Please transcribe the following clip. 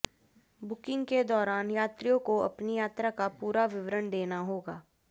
booking के दौरान यात्रियों को अपनी यात्रा का पूरा विवरण देना होगा